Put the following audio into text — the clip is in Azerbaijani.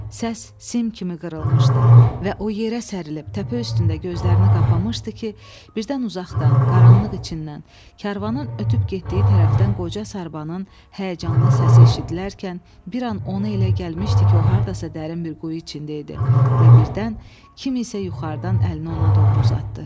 Səs sim kimi qırılmışdı və o yerə sərilip təpə üstündə gözlərini qapamışdı ki, birdən uzaqdan, qaranlıq içindən, karvanın ötüb getdiyi tərəfdən qoca Sarbanın həyəcanlı səsi eşidilərkən bir an ona elə gəlmişdi ki, o hardasa dərin bir quyu içində idi və birdən kimsə yuxarıdan əlini ona doğru uzatdı.